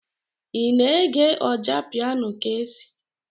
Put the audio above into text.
Ị na-ege Ọjapiano Kcee.